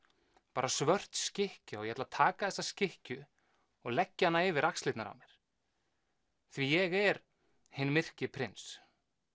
bara svört skikkja og ég ætla að taka þessa skikkju og leggja hana yfir axlirnar á mér því ég er hinn myrki prins